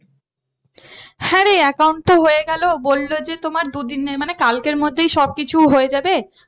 হ্যাঁ রে account তো হয়ে গেলো বললো যে তোমার দুদিনের মানে কালকের মধ্যেই সব কিছু হয়ে যাবে।